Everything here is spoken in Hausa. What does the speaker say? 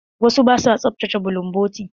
Wasu ba sua tsaftace bulunbotu.